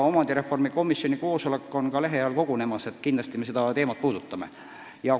Omandireformi komisjoni koosolek toimubki lähiajal ja kindlasti me seda teemat puudutame.